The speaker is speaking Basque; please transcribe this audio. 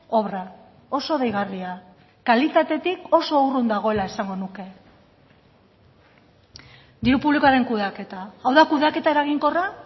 obra oso deigarria kalitatetik oso urrun dagoela esango nuke diru publikoaren kudeaketa hau da kudeaketa eraginkorra